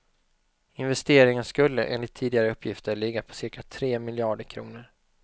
Investeringen skulle, enligt tidigare uppgifter, ligga på cirka tre miljarder kronor.